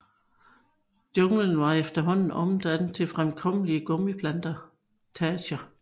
Junglen var efterhånden omdannet til fremkommelige gummiplantager